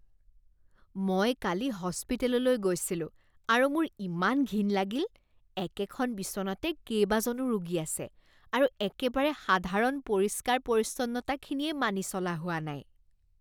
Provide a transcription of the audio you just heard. মই কালি হস্পিটেললৈ গৈছিলোঁ আৰু মোৰ ইমান ঘিণ লাগিল। একেখন বিচনাতে কেইবাজনো ৰোগী আছে আৰু একেবাৰে সাধাৰণ পৰিষ্কাৰ পৰিচ্ছন্নতাখিনিয়েই মানি চলা হোৱা নাই।